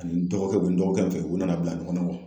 Ani dɔgɔkɛ, o bɛ n dɔgɔkɛ min fɛ u nana bila ɲɔgɔnna